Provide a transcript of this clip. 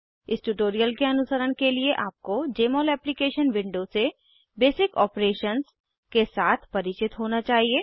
इस ट्यूटोरियल के अनुसरण के लिए आपको जमोल एप्लीकेशन विंडो से बेसिक ऑपरेशंस के साथ परिचित होना चाहिए